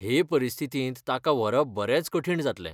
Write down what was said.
हे परिस्थितींत ताका व्हरप बरेंच कठीण जातलें.